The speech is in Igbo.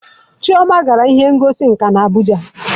Chioma gara ihe ngosi nka na Abuja